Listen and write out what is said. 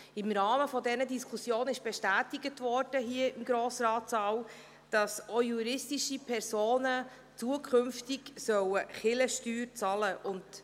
Im Rahmen dieser Diskussion wurde hier im Grossratssaal bestätigt, dass auch juristische Personen zukünftig Kirchensteuern bezahlen sollen.